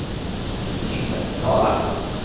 Timmersdala